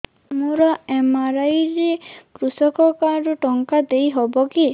ମୋର ଏମ.ଆର.ଆଇ ରେ କୃଷକ କାର୍ଡ ରୁ ଟଙ୍କା ଦେଇ ହବ କି